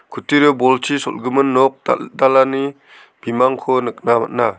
kutturio bolchi sol·gimin nok dal·dalani bimangko nikna man·a.